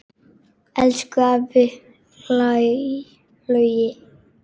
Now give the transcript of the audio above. Elsku afi Laugi.